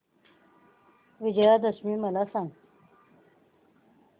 विजयादशमी मला सांग